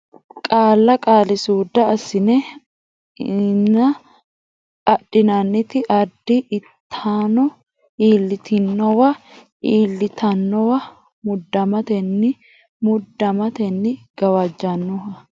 Qaalla Qaalisuudda assinanni ass inanni adhitanno adh itanno iillitinowa iill itinowa muddamatenni mudd amatenni gawajjannoha gawajj annoha Loonseemmo Qaalla Qaalisuudda assinanni ass inanni adhitanno adh itanno.